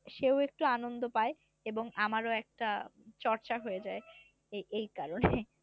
সেও একটু আনন্দ পায় এবং আমারও একটা চর্চা হয়ে যায় এই কারণে